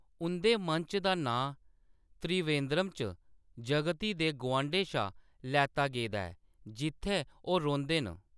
उंʼदे मंच दा नांऽ त्रिवेंद्रम च जगती दे गुआंढै शा लैता गेदा ऐ जि`त्थै ओह्‌‌ रौंह्‌‌‌दे न।